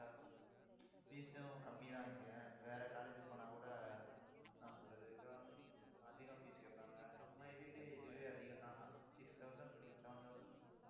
fees உம் கம்மிதான் இங்க. வேற college க்கு போனாக்கூட, என்ன சொல்றது அதிகம் fees கேட்பாங்க. நம்ம இதுக்கு இதுவே அதிகம்தான் six thousand, seven thousand